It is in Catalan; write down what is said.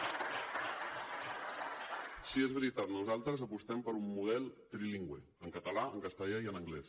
sí és veritat nosaltres apostem per un model trilingüe en català en castellà i en anglès